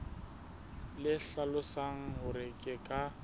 le hlalosang hore ke ka